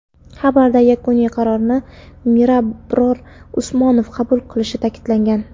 Xabarda yakuniy qarorni Mirabror Usmonov qabul qilishi ta’kidlangan.